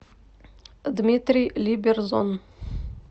дмитрий либерзон